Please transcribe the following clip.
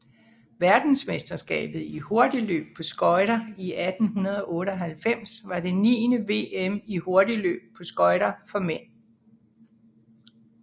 Verdensmesterskabet i hurtigløb på skøjter 1898 var det niende VM i hurtigløb på skøjter for mænd